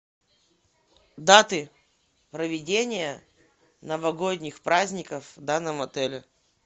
даты проведения новогодних праздников в данном отеле